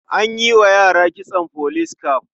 An yi wa yara kitson police cap.